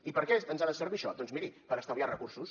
i per què ens ha de servir això doncs miri per estalviar recursos